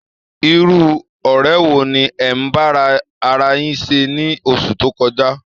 Irú ọ̀rẹ́ wo ni ẹ̀ ń bá ara yín ṣe ní oṣù tó kọjá?